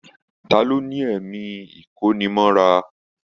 Ta ló ní ẹ̀mí ikonimọ́ra?